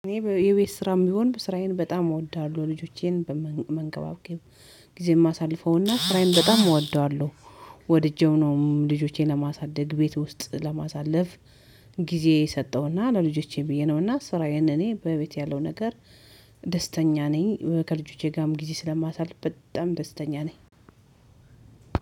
እኔ የቤት ስራም ቢሆን ስራዬን በጣም እወዳለሁ ልጆቼን በመንከባከብ ጊዜም እማሳልፈውና ስራዬን በጣም እወደዋለሁ። ወድጄው ነው ልጆቼን ለማሳደግ ቤት ውስጥ ለማሳለፍ። ጊዜ ሰጠሁና ለልጆቼ ብዬ ነውና ስራዬ እኔ በቤት ያለው ነገር። ደስተኛ ነኝ ከልጆቼ ጋርም ጊዜ ስለማሳልፍ በጣም ደስተኛ ነኝ።